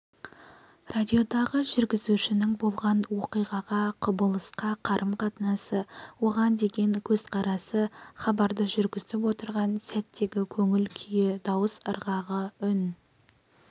радиодағы жүргізушінің болған оқиғаға құбылысқа қарым-қатынасы оған деген көзқарасы хабарды жүргізіп отырған сәттегі көңіл күйі дауыс ырғағы үн